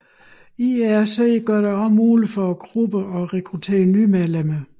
IRC gør det også muligt for grupperne at rekruttere nye medlemmer